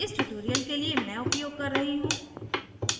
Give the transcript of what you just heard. इस tutorial के लिए मैं उपयोग कर रही हूँ: